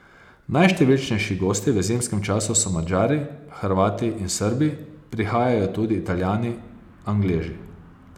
Najštevilčnejši gosti v zimskem času so Madžari, Hrvati in Srbi, prihajajo tudi Italijani, Angleži.